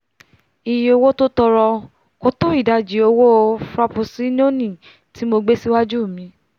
iye owó tó tọọrọ kò tó ìdajì owo frapuccinno tí mo gbé síwájú mi